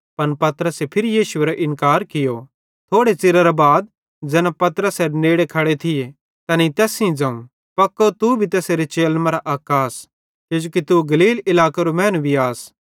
पन पतरसे फिरी यीशु एरो इन्कार कियो थोड़े च़िरे बाद ज़ैना पतरसेरे नेड़े खड़े थिये तैनेईं तैस सेइं ज़ोवं पक्को तू भी तैसेरे चेलन मरां अक आस किजोकि तू गलील इलाकेरो मैनू भी आस